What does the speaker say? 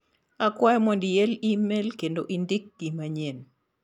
Akwayo mondo iel imel kendo indik gi manyien.